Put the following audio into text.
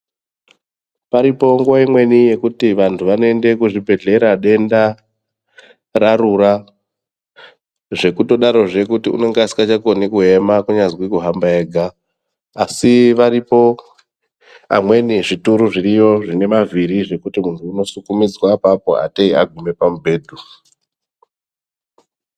Paripo nguva imweni yekuti vantu vanoenda kuzvibhedhlera denda rarura zvekutodarozve kuti unenge asingachakoni kuema kunyazwi kuhamba ega. Asi aripo zvimweni zvituru zvine mavhiri zvekuti muntu unosukumidzwa apapo atei agume pamubhedhu.